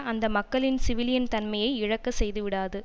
அந்த மக்களின் சிவிலியன் தன்மையை இழக்கச்செய்துவிடாது